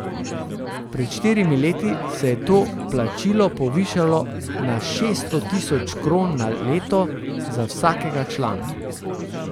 Pred štirimi leti se je to plačilo povišalo na šeststo tisoč kron na leto za vsakega člana.